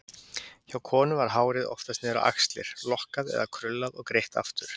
Hjá konum var hárið oftast niður á axlir, lokkað eða krullað og greitt aftur.